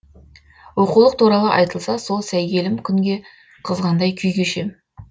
оқулық туралы айтылса сол сәйгелім күнге қызғандай күй кешем